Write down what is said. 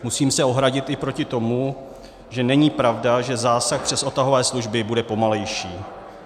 Musím se ohradit i proti tomu, že není pravda, že zásah přes odtahové služby bude pomalejší.